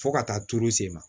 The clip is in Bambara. Fo ka taa turu sen ma